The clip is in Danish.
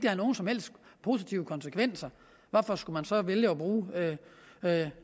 har nogen som helst positive konsekvenser hvorfor skulle man så vælge at bruge